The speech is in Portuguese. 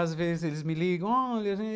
Às vezes eles me ligam. Olha